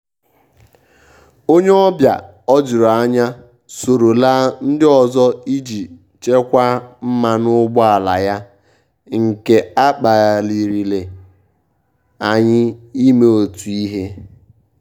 ónyé ọ́bịà ójúrú ányá sóró lá ndí ọ́zọ́ íjí chékwàá mmánụ́ ụ́gbọ́álá yá nké á kpálirìré ànyị́ ímé ótú íhé.